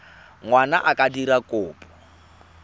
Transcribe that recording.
ngwana a ka dira kopo